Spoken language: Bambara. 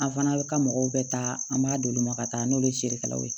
An fana bɛ ka mɔgɔw bɛ taa an b'a d'olu ma ka taa n'olu ye feerekɛlaw ye